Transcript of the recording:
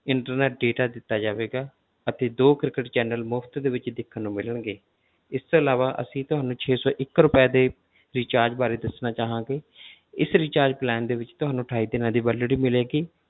Internet data ਦਿੱਤਾ ਜਾਵੇਗਾ ਅਤੇ ਦੋ ਕ੍ਰਿਕਟ channel ਮੁਫ਼ਤ ਦੇ ਵਿੱਚ ਦੇਖਣ ਨੂੰ ਮਿਲਣਗੇ ਇਸ ਤੋਂ ਇਲਾਵਾ ਅਸੀਂ ਤੁਹਾਨੂੰ ਛੇ ਸੌ ਇੱਕ ਰੁਪਏ ਦੇ recharge ਬਾਰੇ ਦੱਸਣਾ ਚਾਹਾਂਗੇ ਇਸ rechargeplan ਦੇ ਵਿੱਚ ਤੁਹਾਨੂੰ ਅਠਾਈ ਦਿਨਾਂ ਦੀ validity ਮਿਲੇਗੀ,